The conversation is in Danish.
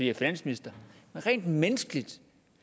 er finansminister men rent menneskeligt